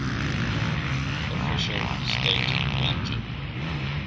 official state religion